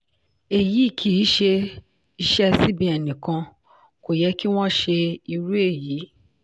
eyi kìí ṣe iṣẹ́ cbn nìkan kò yẹ kí wọ́n ṣe irú èyí.